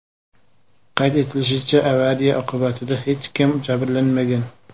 Qayd etilishicha, avariya oqibatida hech kim jabrlanmagan.